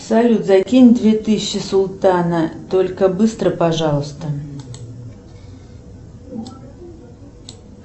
салют закинь две тысячи султана только быстро пожалуйста